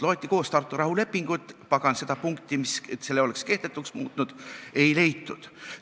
Loeti koos Tartu rahulepingut – pagan, seda punkti, mis selle passi oleks kehtetuks muutnud, ei leitud.